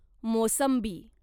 मोसंबी